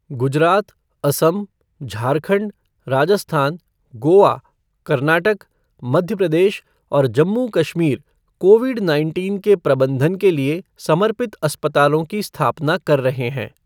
गुजरात, असम, झारखंड, राजस्थान, गोवा, कर्नाटक, मध्य प्रदेश और Jammu Kashmir Covid nineteen के प्रबंधन के लिए समर्पित अस्पतालों की स्थापना कर रहे हैं।